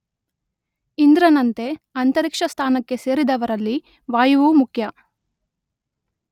ಇಂದ್ರನಂತೆ ಅಂತರಿಕ್ಷಸ್ಥಾನಕ್ಕೆ ಸೇರಿದವರಲ್ಲಿ ವಾಯುವೂ ಮುಖ್ಯ.